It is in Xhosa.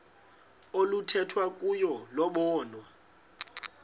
oluthethwa kuyo lobonwa